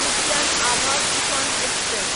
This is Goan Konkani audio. उद्यान आभा तुफान एक्सप्रॅस